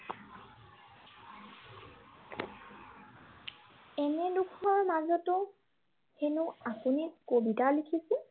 এনে দুখৰ মাজতো হেনো আপুনি কবিতা লিখিছিল।